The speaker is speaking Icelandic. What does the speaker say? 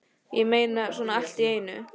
Ég meina, svona allt í einu?